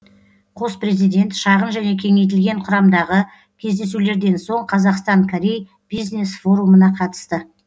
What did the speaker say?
қос президент шағын және кеңейтілген құрамдағы кездесулерден соң қазақстан корей бизнес форумына қатысты